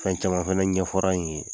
Fɛn caman fana ɲɛfɔra n ye